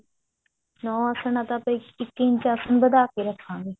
ਨੋ ਆਸਣ ਹੈ ਤਾਂ ਆਪਾਂ ਇੱਕ ਇੰਚ ਵਧਾ ਕਿ ਰੱਖਾਂਗੇ